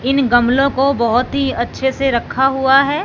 इन गमलों को बहोत ही अच्छे से रखा हुआ है।